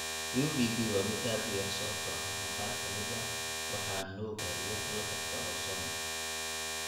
UVB waa mid aad u yar sababtoo ah qaar ka mid ah waxaa nuugaya lakabka ozone.